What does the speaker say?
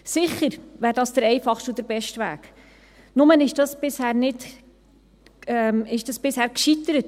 Sicher wäre dies der einfachste und der beste Weg, nur ist dies auf Bundesebene bisher gescheitert.